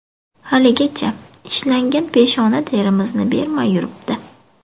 Haligacha ishlangan peshona terimizni bermay yuribdi.